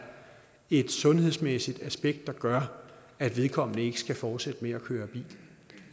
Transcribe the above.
et sundhedsmæssigt aspekt der gør at vedkommende ikke skal fortsætte med at køre bil